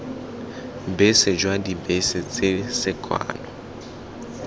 bese jwa dibese tse sekano